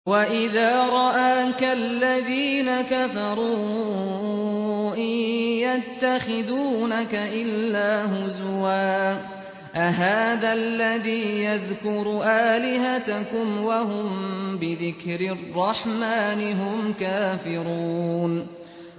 وَإِذَا رَآكَ الَّذِينَ كَفَرُوا إِن يَتَّخِذُونَكَ إِلَّا هُزُوًا أَهَٰذَا الَّذِي يَذْكُرُ آلِهَتَكُمْ وَهُم بِذِكْرِ الرَّحْمَٰنِ هُمْ كَافِرُونَ